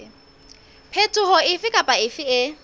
phetoho efe kapa efe e